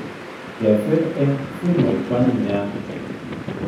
Kesir eng simoit koanyiy nia